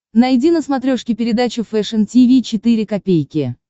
найди на смотрешке передачу фэшн ти ви четыре ка